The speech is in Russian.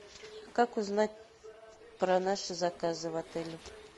как узнать про наши заказы в отеле